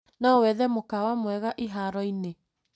No wethe mũkawa mwega iharo-inĩ.